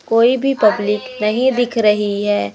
कोई भी पब्लिक नहीं दिख रही है।